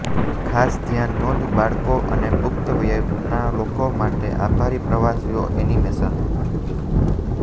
ખાસ ધ્યાન નોંધ બાળકો અને પુખ્ત વયના લોકો માટે આભારી પ્રવાસીઓ એનિમેશન